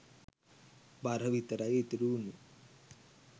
බර විතරයි ඉතිරි වුනේ.